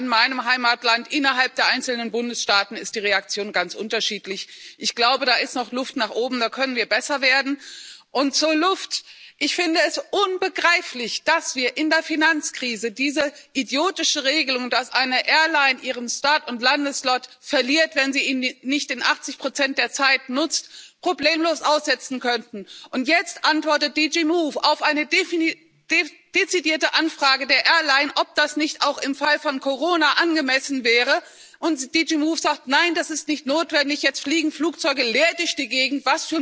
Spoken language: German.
Sogar in meinem Heimatland innerhalb der einzelnen Bundesstaaten ist die Reaktion ganz unterschiedlich. Ich glaube, da ist noch Luft nach oben, da können wir besser werden. Und zur Luft Ich finde es unbegreiflich, dass wir in der Finanzkrise diese idiotische Regelung, dass eine Airline ihren Start und Landeslot verliert, wenn sie ihn nicht zu 80 der Zeit nutzt, problemlos aussetzen konnten. Jetzt antwortet GD MOVE auf eine dezidierte Anfrage einer Airline, ob das nicht auch im Fall von Corona angemessen wäre, und GD MOVE sagt Nein, das ist nicht notwendig. Jetzt fliegen Flugzeuge leer durch die Gegend.